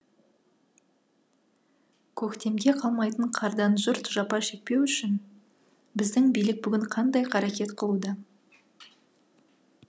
көктемге қалмайтын қардан жұрт жапа шекпеу үшін біздің билік бүгін қандай қарекет қылуда